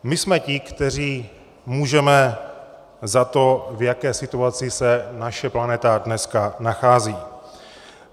My jsme ti, kteří můžeme za to, v jaké situaci se naše planeta dneska nachází.